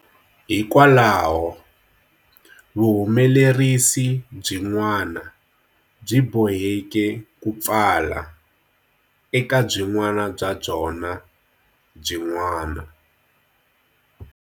Hikwalaho, vuhumelerisi byin'wana byi boheke ku pfala, eka byin'wana bya byona byin'wana.